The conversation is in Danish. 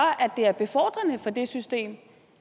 det er befordrende for det system